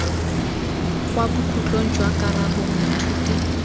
kwa bokhutlong jwa karabo moithuti